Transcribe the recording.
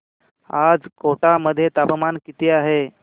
आज कोटा मध्ये तापमान किती आहे